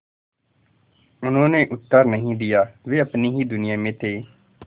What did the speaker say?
उन्होंने उत्तर नहीं दिया वे अपनी ही दुनिया में थे